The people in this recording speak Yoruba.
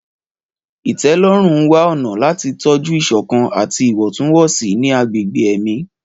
Ìtẹ́lọ́rùn ń wá ọ̀nà láti tọ́jú ìṣọ̀kan àti ìwọ̀ntúnwọ̀nsì ní agbègbè ẹ̀mí.